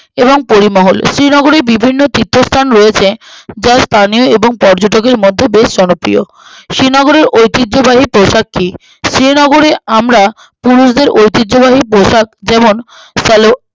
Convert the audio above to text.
এবং পরিমোহল শ্রীনগরে বিভিন্ন তীর্থস্থান রয়েছে যা স্থানীয় এবং পর্যটকের মধ্যে বেশ জনপ্রিয় শ্রীনগরের ঐতিহ্যবাহি পোশাক কি শ্রীনগরে আমরা পুরুষদের ঐতিহ্যবাহি পোশাকী যেমন শ্যালো